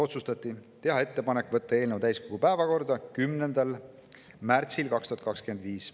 Otsustati teha ettepanek võtta eelnõu täiskogu päevakorda 10. märtsil 2025.